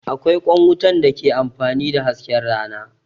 Akwai ƙwan wutan da ke amfani da hasken rana